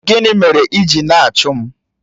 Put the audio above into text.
Gịnị mere ị ji na-achụ m?